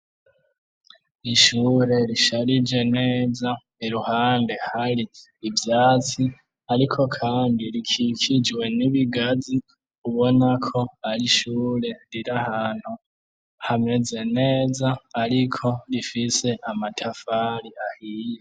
Ishure risharije neza iruhande hari ivyatsi ariko kandi rikikijwe n'ibigazi ubona ko ari ishure riri ahantu hameze neza ariko rifise amatafari ahiye.